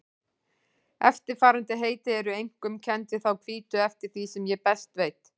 Eftirfarandi heiti eru einkum kennd við þá hvítu eftir því sem ég best veit.